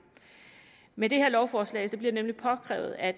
med det her lovforslag bliver det nemlig påkrævet at